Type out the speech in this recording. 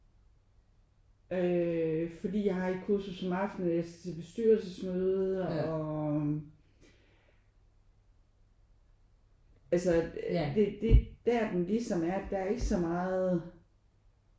Øh fordi jeg har et kursus om aftenen eller jeg skal til bestyrelsesmøde og altså det er der den ligesom er der er ikke så meget